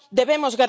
Debemos